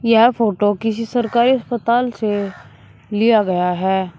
यह फोटो किसी सरकारी अस्पताल से लिया गया है।